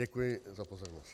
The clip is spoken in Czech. Děkuji za pozornost.